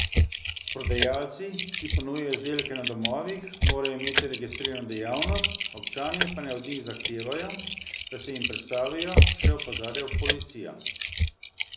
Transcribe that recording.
Prodajalci, ki ponujajo izdelke na domovih, morajo imeti registrirano dejavnost, občani pa naj od njih tudi zahtevajo, da se jim predstavijo, še opozarja policija.